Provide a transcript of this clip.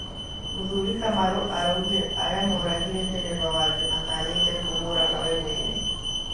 Mũthuri Kamarũ araũgire aria moragire dereba wake matanyĩte kũmũraga wee mwene